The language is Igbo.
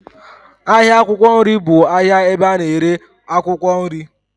Ahịa akwụkwọ nri bụ ahịa ebe a na-ere akwụkwọ nri.